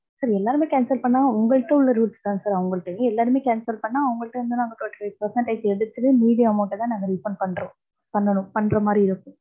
sir எல்லாருமே cancel பண்ணா உங்ககிட்ட உள்ள rules தான் சார் அவங்கள்டயும். எல்லாருமே cancel பண்ணா அவங்கள்டேந்து நாங்க twenty five percentage எடுத்துட்டு மீதி amount அ தான் நாங்க refund பண்றோம், பண்ணனும் பண்ற மாதிரி இருக்கும்.